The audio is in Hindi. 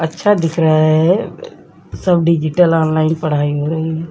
अच्छा दिख रहा है सब डिजिटल ऑनलाइन पढाई उढ़ाई --